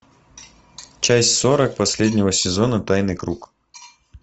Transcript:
часть сорок последнего сезона тайный круг